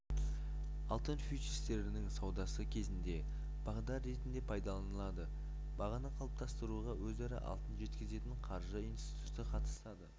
алтын фьючерстерінің саудасы кезінде бағдар ретінде пайдаланылады бағаны қалыптастыруға өзара алтын жеткізетін қаржы институты қатысады